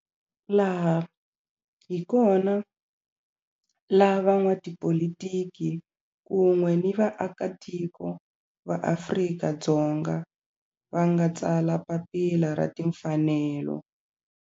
Laha hi kona la van'watipolitiki kun'we ni vaakatiko va Afrika-Dzonga va nga tsala papila ra timfanelo.